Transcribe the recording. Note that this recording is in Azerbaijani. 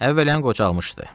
Əvvələn qocalmışdı.